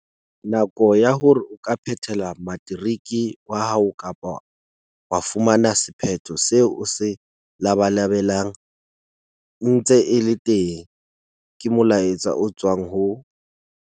Nako ya hore o ka phethela materiki wa hao kapa wa fumana sephetho seo o se labalabelang e ntse e le teng, ke molaetsa o tswang ho.